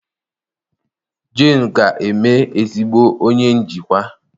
Jane ga-eme ezigbo onye njikwa